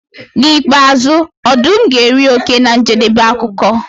N'ikpeazụ ọdụm ga-eri oke na njedebe akụkọ.